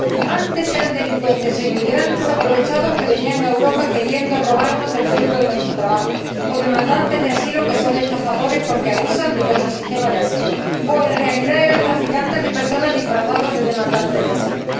Antes eran delincuentes o inmigrantes aprovechados que venían a Europa queriendo robarnos el fruto de nuestro trabajo, o solicitantes de asilo que eran estafadores porque abusaban de nuestro sistema de asilo o, en realidad, eran traficantes de personas disfrazados de solicitantes de asilo.